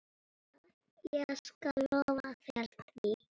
Ég skal lofa þér því.